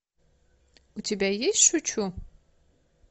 у тебя есть шучу